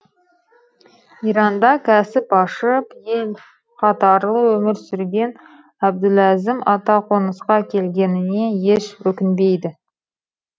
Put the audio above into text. иранда кәсіп ашып ел қатарлы өмір сүрген әбдуләзім ата қонысқа келгеніне еш өкінбейді